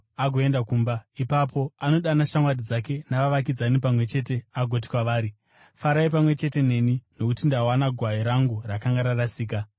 agoenda kumba. Ipapo anodana shamwari dzake navavakidzani pamwe chete agoti kwavari, ‘Farai pamwe chete neni nokuti ndawana gwai rangu rakanga rarasika.’